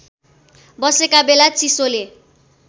बसेका बेला चिसोले